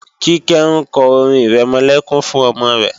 Kíkẹ́ ń kọ orin-ìrẹmọlẹ́kún fún ọmọ rẹ